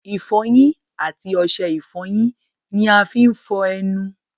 ìfọyín àti osẹ ìfọyín ni a fí ń fọ́ọ́ ẹnu